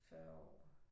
40 år